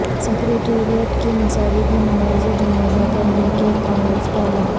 secretariat کی مساجد میں نماز جمعہ ادا کرنے کانگریس کا اعلان